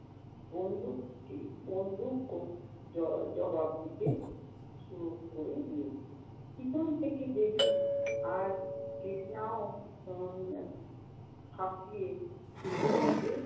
বন্দুক~বন্দুকও জ~জবাব দিতে শুরু করে দিয়েছে। পেছন থেকে ডেভিড আর কৃষ্ণাও উম হাকিয়ে শুরু করেছে।